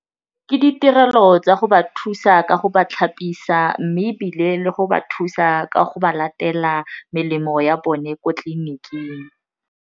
Ke ditirelo tsa go ba thusa ka go ba tlhapisiwa mme ebile le go ba thusa ka go ba latela melemo ya bone ko tleliniking.